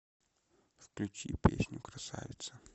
включи песню красавица